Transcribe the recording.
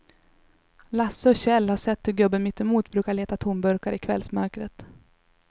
Lasse och Kjell har sett hur gubben mittemot brukar leta tomburkar i kvällsmörkret.